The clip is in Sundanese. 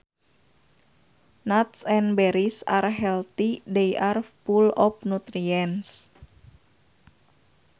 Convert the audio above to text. Nuts and berries are healthy they are full of nutrients